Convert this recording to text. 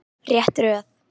Rétt röð.